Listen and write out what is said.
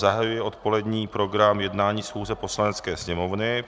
Zahajuji odpolední program jednání schůze Poslanecké sněmovny.